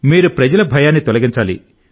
మీరు ప్రజల భయాన్ని తొలగించాలి